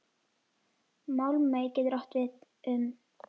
Málmey getur átt við um